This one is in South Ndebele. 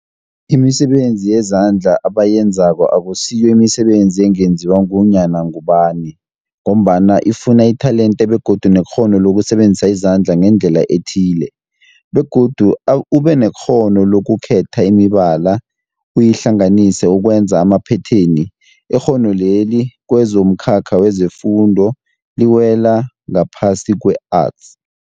Imisebenzi yezandla abayenzako akusiyo imisebenzi ungenziwa ngunyana ngubani mgombana ifuna itelente begodu nekghono lokusebenzisa izandla ngendlela ethile, begodu ubenekghono lokukhetha imibala uyihlanganise ukwenza amaphetheni. Ikghono leli kwezomkhakha wefundo liwela ngaphasi kwe-Arts.